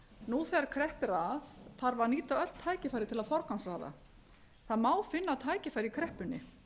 nú þegar kreppir að þarf að nýta öll tækifæri til að forgangsraða það má finna tækifæri í kreppunni